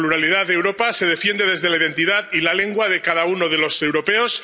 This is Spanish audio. La pluralidad de Europa se defiende desde la identidad y la lengua de cada uno de los europeos